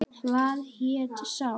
Hvað hét sá?